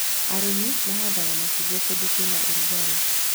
Arĩmi mahandaga macungwa kũndũ kwĩna rugarĩ